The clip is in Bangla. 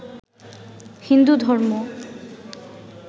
হিন্দু ধর্ম